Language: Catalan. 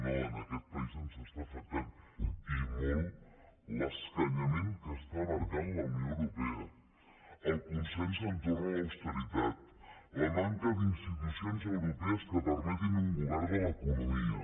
no en aquest país ens afecta i molt l’escanyament que està marcant la unió europea el consens entorn a l’austeritat la manca d’institucions europees que permetin un govern de l’economia